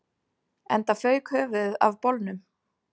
Enda fauk höfuðið af bolnum